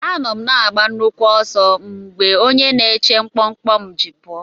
Anọ m na-agba nnukwu ọsọ mgbe onye na-eche mkpọmkpọ m ji pụọ.